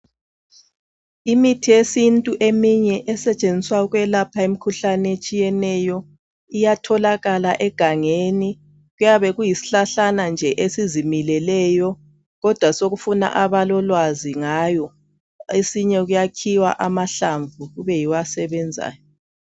imithi yesintu eminye esetshenziswa ukwelapha imikhuhlane etshiyeneyo iyatholakala egangeni kuyabe kuyisihlahlana nje esizimileleyo kodwa sokufuna abalolwazi ngayo einye kuyakhiwa amahlamvu kube yiwo asebenzayo